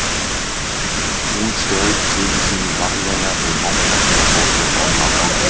Hún strauk syni sínum varlega um vangann og fór svo fram á ganginn.